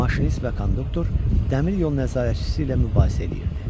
Maşinist və konduktor dəmiryol nəzarətçisi ilə mübahisə edirdi.